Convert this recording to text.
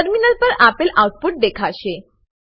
terminal પર આપેલ output દેખાશે